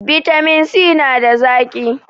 bitamin si nada zaki